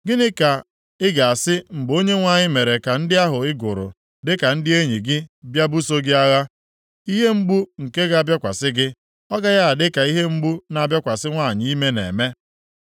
Gịnị ka ị ga-asị mgbe Onyenwe anyị mere ka ndị ahụ ị gụrụ dịka ndị enyi gị bịa buso gị agha? Ihe mgbu nke ga-abịakwasị gị ọ gaghị adị ka ihe mgbu na-abịakwasị nwanyị ime na-eme?